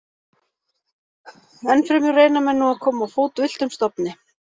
Enn fremur reyna menn nú að koma á fót villtum stofni.